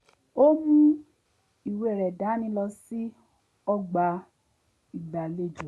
ó mú ìwé rẹ̀ dání lọ sí ọgbà ìgbàlejò